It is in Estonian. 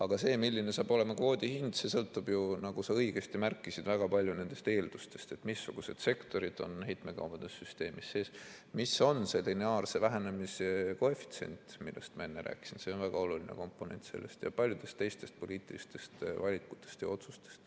Aga see, milline saab olema kvoodi hind, sõltub, nagu sa õigesti märkisid, väga palju nendest eeldustest, missugused sektorid on heitmekaubanduse süsteemis sees, mis on lineaarse vähenemise koefitsient – ma enne rääkisin, see on väga oluline komponent – ja paljudest teistest poliitilistest valikutest ja otsustest.